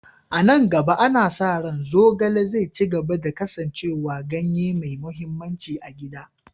A nan gaba, ana sa ranczogale zai ci gaba da kasancewa ganye mai mahimmanci na gida.